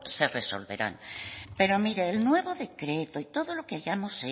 se resolverán pero mire el nuevo decreto y todo lo que hayamos